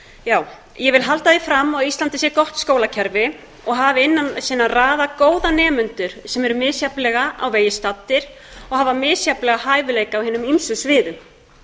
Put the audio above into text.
ég vil halda því fram að á íslandi sé gott skólakerfi og hafi innan sinna raða góða nemendur sem eru misjafnlega á vegi staddir og hafa misjafnlega hæfileika á hinum ýmsu sviðum